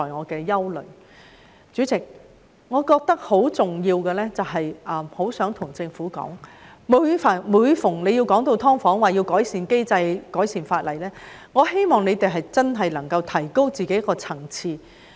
代理主席，我認為很重要的一點是，我很想告訴政府，每當談到"劏房"，說要改善機制、改善法例時，我希望它們真的可以提高自己的層次。